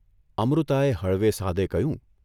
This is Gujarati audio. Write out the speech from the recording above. ' અમૃતાએ હળવે સાદે કહ્યું.